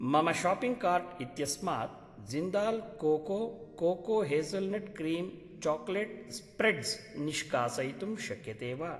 मम shopping cart इत्यस्मात् Jindal cocoa cocoa hazelnut cream chocolate spreads निष्कासयितुं शक्यते वा?